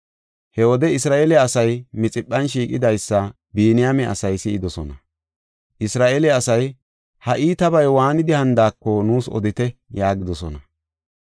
He wode Isra7eele asay Mixiphan shiiqidaysa Biniyaame asay si7idosona. Isra7eele asay, “Ha iitabay waanidi hanidaako nuus odite” yaagidosona.